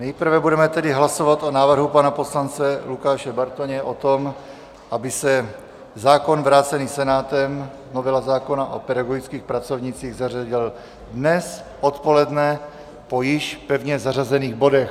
Nejprve budeme tedy hlasovat o návrhu pana poslance Lukáše Bartoně, o tom, aby se zákon vrácený Senátem, novela zákona o pedagogických pracovnících, zařadil dnes odpoledne po již pevně zařazených bodech.